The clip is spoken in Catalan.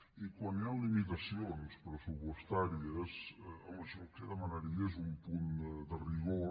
i quan hi han limitacions pressupostàries home jo el que demanaria és un punt de rigor